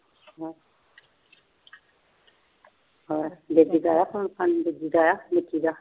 ਹੋਰ ਦਾ ਆਇਆ phone ਫ਼ਾਨ ਦੂਜੀ ਦਾ ਆਇਆ ਨਿੱਕੀ ਦਾ